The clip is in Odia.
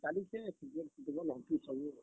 ଚାଲିଛେ Cricket, Football ହେନ୍ ତି ସବୁ ଆଉ।